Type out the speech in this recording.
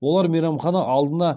олар мейрамхана алдына